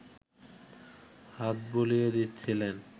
হাত বুলিয়ে দিচ্ছিলেন